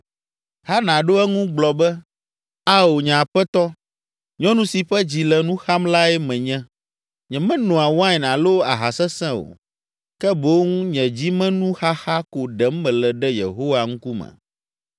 Hana ɖo eŋu gblɔ be, “Ao, nye aƒetɔ, nyɔnu si ƒe dzi le nu xam lae menye. Nyemenoa wain alo aha sesẽ o; ke boŋ nye dzimenuxaxa ko ɖem mele ɖe Yehowa ŋkume.